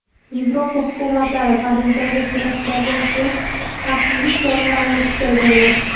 Yevropa hukumatlari Parijdagi teraktlardan so‘ng xavfsizlik choralarini kuchaytirdi.